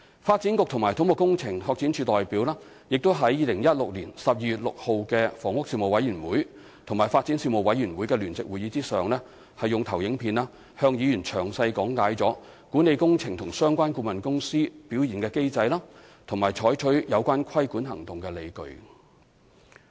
發展局及土木工程拓展署代表亦在2016年12月6日的房屋事務委員會與發展事務委員會的聯席會議上，用投影片向議員詳細講解管理工程及相關顧問公司表現的機制，以及採取有關規管行動的理據。